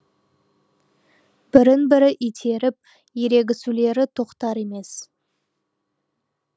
бірін бірі итеріп ерегісулері тоқтар емес